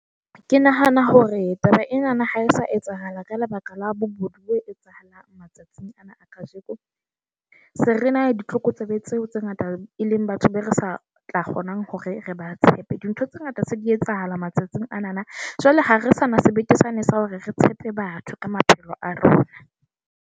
Ke nahana hore taba enana ha e sa etsahala ka lebaka la bobodu bo etsahalang matsatsing ana a kajeko . Se rena ditlokotsebe tseo tse ngata e le leng batho be re sa tla kgona hore re ba tshepe. Dintho tse ngata se di etsahala matsatsing anana, jwale ha re sa na sebete sane sa hore re tshepe batho ka maphelo a rona.